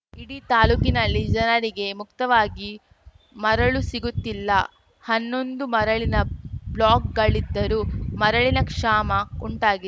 ಇಡೀ ತಾಲೂಕಿನಲ್ಲಿ ಜನರಿಗೆ ಮುಕ್ತವಾಗಿ ಮರಳು ಸಿಗುತ್ತಿಲ್ಲ ಹನ್ನೊಂದು ಮರಳಿನ ಬ್ಲಾಕ್‌ಗಳಿದ್ದರೂ ಮರಳಿನ ಕ್ಷಾಮ ಉಂಟಾಗಿ